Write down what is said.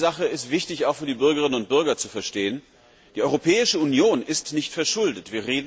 Eine Sache ist wichtig, auch für die Bürgerinnen und Bürger, zu verstehen Die Europäische Union ist nicht verschuldet.